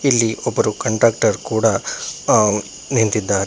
ಇಲ್ಲಿ ಒಬ್ಬರು ಕಂಡಕ್ಟೆರ ಕೂಡ ಅ ನಿಂತಿದ್ದಾರೆ.